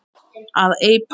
að eipa